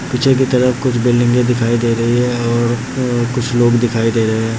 पीछे के तरफ कुछ बिल्डिंगे दिखाई दे रही है और कुछ लोग दिखाई दे रहे है।